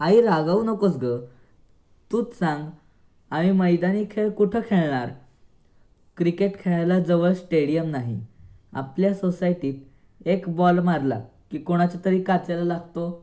आई रागावू नकोस ग. तूच सांग आम्ही मैदानी खेळ कुठे खेळणार? क्रिकेट खेळायला जवळ स्टेडियम नाही आपल्या सोसायटीत एक बॉल मारला की कोणाच्यातरी काचेला लागतो.